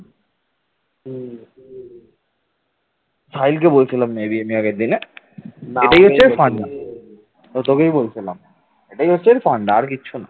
এটাই হচ্ছে ফান্ডা আর কিছু না।